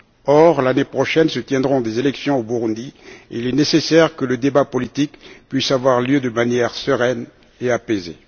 Or, l'année prochaine se tiendront des élections au Burundi et il est nécessaire que le débat politique puisse avoir lieu de manière sereine et apaisée.